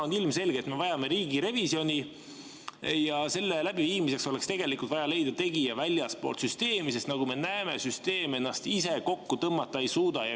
On ilmselge, et me vajame riigirevisjoni ja selle tegija oleks tegelikult vaja leida väljastpoolt süsteemi, sest nagu me näeme, süsteem ennast ise kokku tõmmata ei suuda.